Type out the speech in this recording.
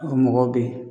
O mɔgɔw bɛ yen